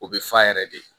O bɛ fa yɛrɛ de